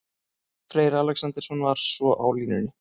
Freyr Alexandersson var svo á línunni.